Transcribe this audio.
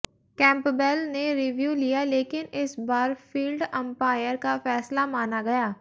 Campbell ने review लिया लेकिन इस बार फील्ड अंपायर का फैसला माना गया